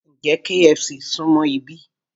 Ǹjẹ́ KFC súmọ́ ibí?